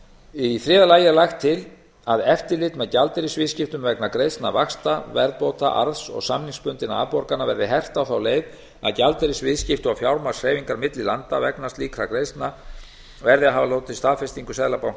í þriðja lagi er lagt til að eftirlit með gjaldeyrisviðskiptum vegna greiðslna vaxta verðbóta arðs og samningsbundinna afborgana verði hert á þá leið að gjaldeyrisviðskipti og fjármagnshreyfingar á milli landa vegna greiðslna samkvæmt ákvæði þessu skulu hafa hlotið staðfestingu seðlabanka